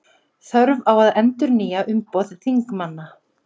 Þörf á að endurnýja umboð þingmanna